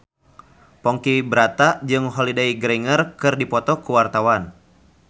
Ponky Brata jeung Holliday Grainger keur dipoto ku wartawan